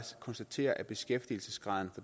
konstatere at beskæftigelsesgraden